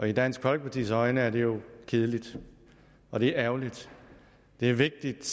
i dansk folkepartis øjne kedeligt og det er ærgerligt det er vigtigt